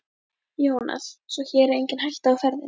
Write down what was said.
Jónas: Svo hér er engin hætta á ferðinni?